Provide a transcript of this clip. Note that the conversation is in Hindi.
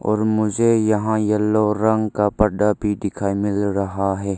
और मुझे यहां येलो रंग का पर्दा भी दिखाई मिल रहा है।